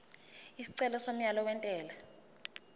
isicelo somyalo wentela